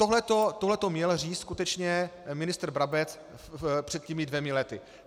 Tohleto měl říct skutečně ministr Brabec před těmi dvěma lety.